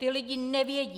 Ti lidé nevědí.